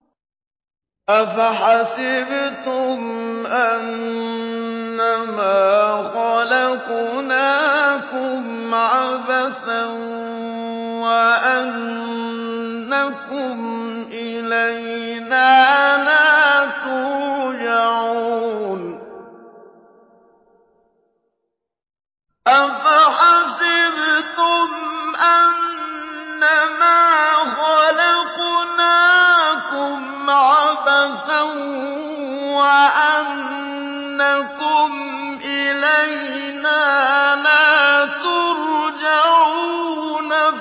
أَفَحَسِبْتُمْ أَنَّمَا خَلَقْنَاكُمْ عَبَثًا وَأَنَّكُمْ إِلَيْنَا لَا تُرْجَعُونَ